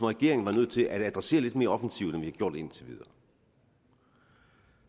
regering var nødt til at adressere lidt mere offensivt end vi har gjort indtil videre